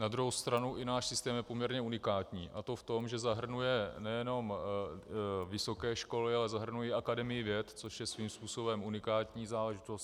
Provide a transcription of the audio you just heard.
Na druhou stranu i náš systém je poměrně unikátní, a to v tom, že zahrnuje nejenom vysoké školy, ale zahrnuje Akademii věd, což je svým způsobem unikátní záležitost.